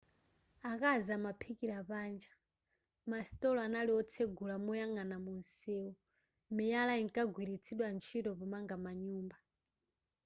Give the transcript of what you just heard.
akazi amaphikira panja masitolo anali otsegula moyang'ana mumsewu miyala inkagwiritsidwa ntchito pomanga manyumba